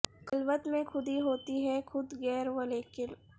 خلوت میں خودی ہوتی ہے خود گیر و لیکن